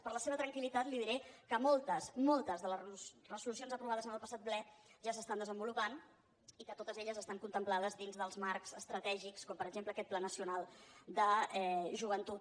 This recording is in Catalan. per a la seva tranquilde les resolucions aprovades en el passat ple ja s’estan desenvolupant i que totes elles estan contemplades dins dels marcs estratègics com per exemple aquest pla nacional de joventut